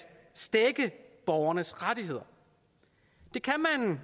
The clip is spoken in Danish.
stække borgernes rettigheder det kan